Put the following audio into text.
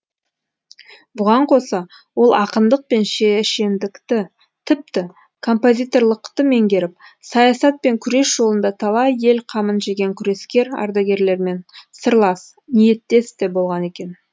бұған қоса ол ақындық пен шешендікті тіпті композиторлықты меңгеріп саясат пен күрес жолында талай ел қамын жеген күрескер ардагерлермен сырлас ниеттес те болған екен